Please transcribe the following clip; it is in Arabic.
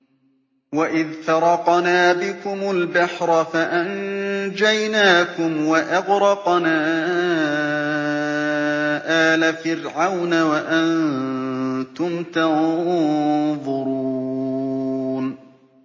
وَإِذْ فَرَقْنَا بِكُمُ الْبَحْرَ فَأَنجَيْنَاكُمْ وَأَغْرَقْنَا آلَ فِرْعَوْنَ وَأَنتُمْ تَنظُرُونَ